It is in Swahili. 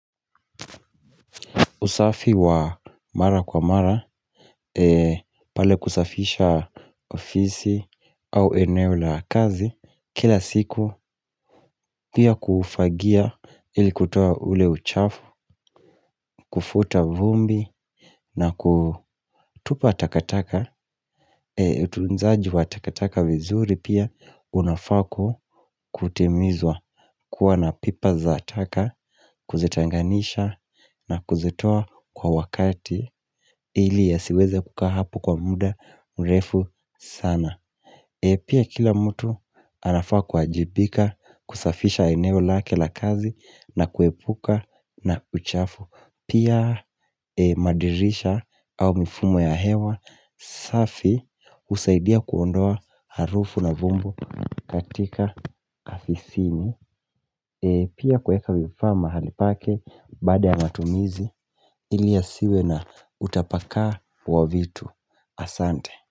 Usafi wa mara kwa mara, pale kusafisha ofisi au eneo la kazi, kila siku pia kufagia ili kutoa ule uchafu, kufuta vumbi na kutupa takataka, tunzaji wa takataka vizuri pia unafaa kutimizwa kuwa na pipa za taka, kuzetenganisha na kuzitoa kwa wakati ili yasiweze kukaa hapo kwa muda mrefu sana Pia kila mtu anafaa kuajibika kusafisha eneo lake la kazi na kuepuka na uchafu Pia madirisha au mifumo ya hewa safi usaidia kuondoa harufu na vumbu katika afisini Pia kuweka vifaa mahali pake baada ya matumizi ili yasiwe na utapakaa wa vitu Asante.